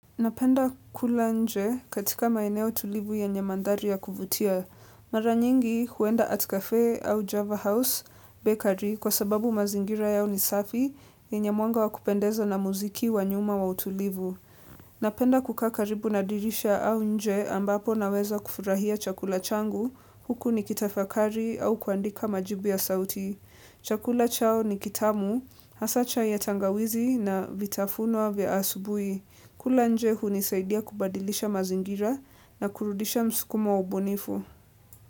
Napenda kula nje katika maeneo tulivu yenye madhari ya kuvutia. Mara nyingi huenda at cafe au Java House, bakery, kwa sababu mazingira yao ni safi, yenye mwanga wa kupendeza na muziki wa nyuma wa utulivu. Napenda kukaa karibu na dirisha au nje ambapo naweza kufurahia chakula changu, huku nikitafakari au kuandika majibu ya sauti. Chakula chao ni kitamu, hasa chai ya tangawizi na vitafunwa vya asubuhi. Kula nje hunisaidia kubadilisha mazingira na kurudisha msukumo wa ubunifu.